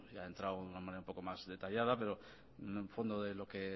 ha entrado de una manera más detallada pero en el fondo de lo que